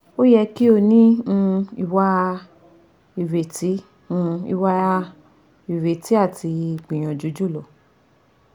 O yẹ ki o ni um iwa ireti um iwa ireti ati gbiyanju julo